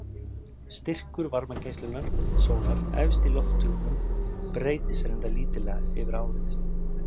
Styrkur varmageislunar sólar efst í lofthjúpnum breytist reyndar lítillega yfir árið.